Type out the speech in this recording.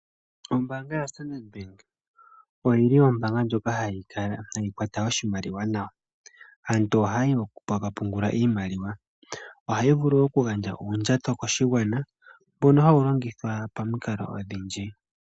Ombaanga yaStandard Bank oyili ombaanga ndjoka hayi kwata oshimaliwa nawa. Aantu ohaya yi oku ka pungula iimaliwa. Ohayi vulu okugandja uundjato koshigwana mbono hawu longithwa pamikalo odhindji.